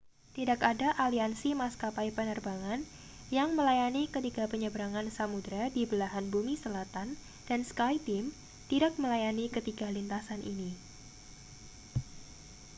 tidak ada aliansi maskapai penerbangan yang melayani ketiga penyeberangan samudra di belahan bumi selatan dan skyteam tidak melayani ketiga lintasan ini